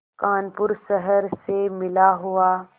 कानपुर शहर से मिला हुआ